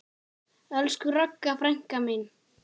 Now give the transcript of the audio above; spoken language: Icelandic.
Elsku Ragga frænka mín.